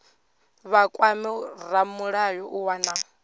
vha kwame ramulayo u wana